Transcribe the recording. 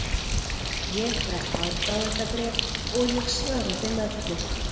Ég fæ aðdáendabréf og ég svara þeim öllum.